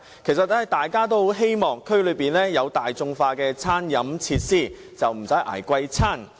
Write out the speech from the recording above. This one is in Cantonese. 其實，大家都希望區內能有大眾化的餐飲設施，不用"捱貴飯"。